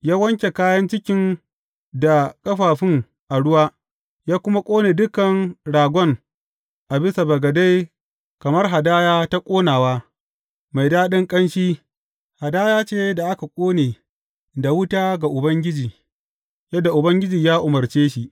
Ya wanke kayan cikin da ƙafafun a ruwa, ya kuma ƙone dukan ragon a bisa bagade kamar hadaya ta ƙonawa, mai daɗin ƙanshi, hadaya ce da aka ƙone da wuta ga Ubangiji, yadda Ubangiji ya umarce shi.